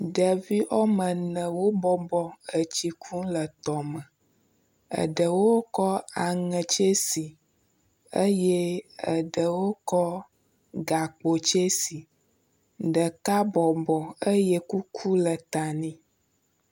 Ɖevi woametɔ̃ wobɔbɔ nɔ tsi kum le tɔme. Aɖewo kɔ aŋe tsɛsi eye aɖewo kɔ gakpo tsɛsi. Ɖeka bɔbɔ eye kuku le ta nɛ.